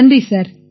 நன்றி சார்